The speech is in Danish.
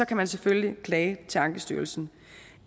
kan man selvfølgelig klage til ankestyrelsen